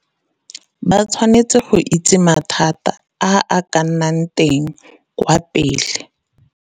Ba tshwanetse go itse mathata a a ka nnang teng kwa pele